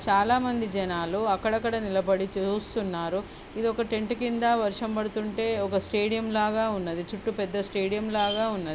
చాలామంది జనాలు అక్కడక్కడ నిలబడి చూస్తున్నారు ఇది ఒక టెంట్ కింద వర్షం పడుతుంటే ఒక స్టేడియం లాగా ఉన్నది చుట్టూ పెద్ద స్టేడియం లాగా ఉన్నది.